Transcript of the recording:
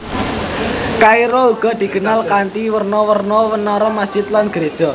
Kairo uga dikenal kanthi werna werna menara masjid lan geréja